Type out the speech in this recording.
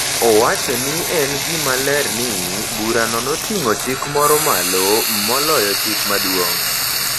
Owacho ni en gima ler ni, burano noting’o chik moro malo moloyo Chik Maduong’.